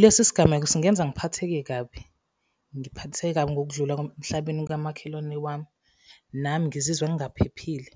Lesi sigameko singenza ngiphatheke kabi, ngiphatheke kabi ngokudlula emhlabeni kamakhelwane wami, nami ngizizwa ngingaphephile,